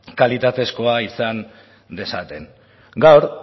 kalitatezkoa izan dezaten gaur